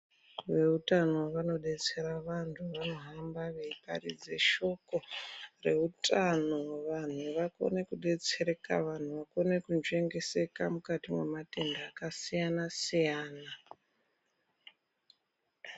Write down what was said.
Veutano vanodetsera vantu vanohamba veiparidze shoko reutano vantu vakone kudetsereka vantu vakone kunzvengeseka mukati mwematenda akasiyana siyana.